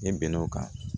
I bɛn'o kan